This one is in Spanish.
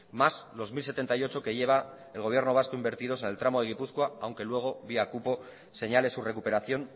más los mil setenta y ocho que lleva el gobierno vasco invertidos en el tramo de gipuzkoa aunque luego vía cupo señale su recuperación